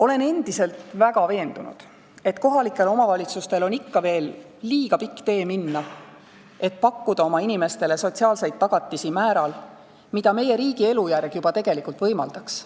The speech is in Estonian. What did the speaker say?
Olen endiselt väga veendunud, et kohalikel omavalitsustel on ikka veel liiga pikk tee minna, selleks et pakkuda oma inimestele sotsiaalseid tagatisi määral, mida meie riigi elujärg juba tegelikult võimaldaks.